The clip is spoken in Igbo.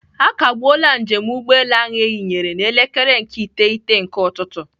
Akagbuola njem ụgbọelu ahụ eyinyere n'elekere nke iteghete nke ụtụtụ.